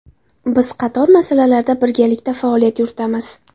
Biz qator masalalarda birgalikda faoliyat yuritamiz.